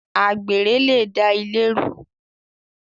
Àgbèrè le da ilé rú